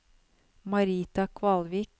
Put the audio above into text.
Marita Kvalvik